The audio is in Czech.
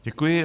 Děkuji.